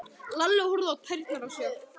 Lalli horfði á tærnar á sér.